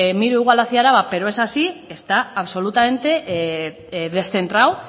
miro igual hacia álava pero es así está absolutamente descentrado